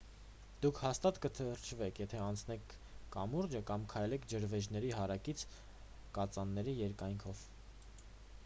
դուք հաստատ կթրջվեք եթե անցնեք կամուրջը կամ քայլեք ջրվեժների հարակից կածանների երկայնքով